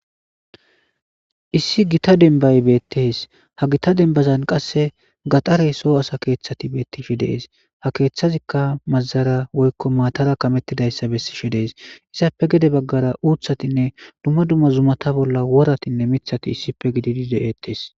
Issi gita dembay betes ha gita dembazan qase gadhare so asa kethati betishe de'es ha kethazika mazara woyko matara kametidaysa besishe de'es izappe gede bagara utatine duma duma zumata bola woratinne mithati issipe gididi de'etes.